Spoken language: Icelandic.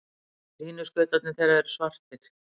Línuskautarnir þeirra eru svartir.